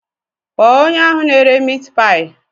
Kpọọ onye ahụ na-ere miit paayi.